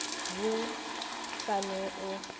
wo ka go no o